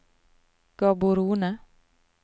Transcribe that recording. Gaborone